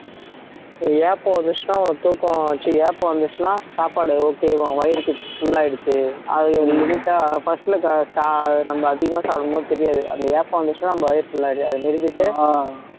ஏப்பம் வந்துச்சுன்னா உனக்கு தூக்கம் ஏப்பம் வந்துச்சுன்னா சாப்பாடு okay உன் வயிறு full ஆயிடுச்சு அது limit ஆ first ல நம்ம அதிகமா சாப்பிடும்போது தெரியாது அந்த ஏப்பம் வந்துச்சுன்னா நம்ம வயிறு full ஆ அப்படியே அதை நிறுத்திட்டு